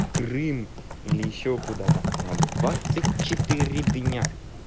крым или ещё куда-то на двадцать четыре дня